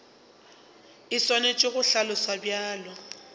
e swanetše go hlaloswa bjalo